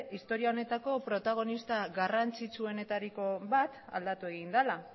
historia honetako protagonista garrantzitsuenetariko bat aldatu egin dela